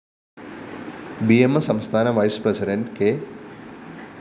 B M S സംസ്ഥാന vice president K